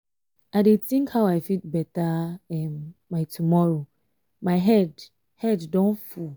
i dey think how i fit better um my tomorrow my head head don um full